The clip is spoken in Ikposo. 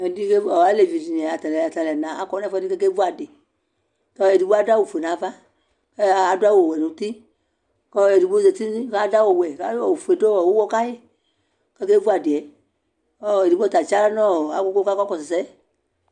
alɛvi dini atani akɔnʋ ɛƒʋɛdi kɛvʋ adi kʋ ɛdi adʋ awʋ ƒʋɛ nʋ aɣa, adʋ awʋ wɛ nʋ ʋti, kʋɛdigbɔ zati kʋ adʋ awʋ wɛ kʋ ɔƒʋɛ dʋ ʋwɔ kayi kʋ ɔkɛ vʋ adiɛ, ɛdigbɔ ta akyi ala nʋ agugu kʋ ɔkakɔsʋ ɛsɛ